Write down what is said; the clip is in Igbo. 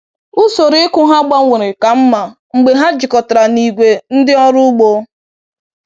Usoro ịkụ ha gbanwere ka mma mgbe ha jikọtara na ìgwè ndị ọrụ ugbo